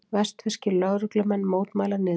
Vestfirskir lögreglumenn mótmæla niðurskurði